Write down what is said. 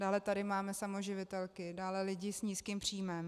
Dále tady máme samoživitelky, dále lidi s nízkým příjmem.